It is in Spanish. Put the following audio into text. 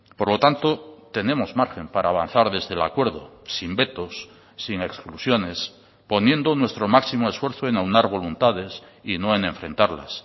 por lo tanto tenemos margen para avanzar desde el acuerdo sin vetos sin exclusiones poniendo nuestro máximo esfuerzo en aunar voluntades y no en enfrentarlas